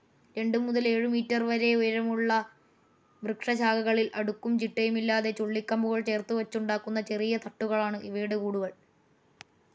രണ്ടു മുതൽ ഏഴുമീറ്റർ വരെ ഉയരമുള്ള വൃക്ഷശാഖകളിൽ അടുക്കും ചിട്ടയുമില്ലാതെ ചുള്ളികമ്പുകൾ ചേർത്തുവച്ചുണ്ടാക്കുന്ന ചെറിയ തട്ടുകളാണ് ഇവയുടെ കൂടുകൾ.